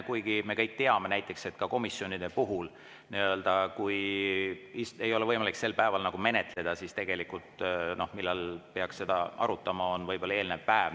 Kuigi me kõik teame näiteks, et komisjonide puhul kui ei ole võimalik sel päeval menetleda, siis tegelikult, millal peaks seda arutama, on võib-olla eelnev päev.